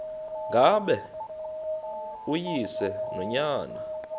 ngaba uyise nonyana